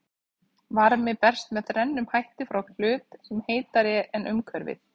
Varmi berst með þrennum hætti frá hlut sem er heitari en umhverfið.